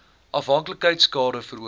afhanklikheid skade veroorsaak